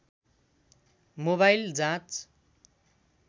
mobile जाँच